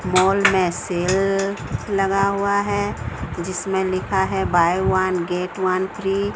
mall मे sale लगा हुआ है जिसमे लिखा है buy one get one free --